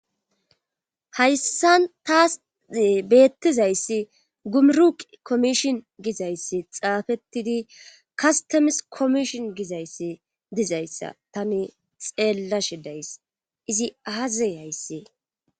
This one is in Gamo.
hayssan taas beettizayssi gumuruq komishon gizayssi xaafettidi kastamis komishon gizayssi dizayssa tani xeella shidays izi aaze hayssi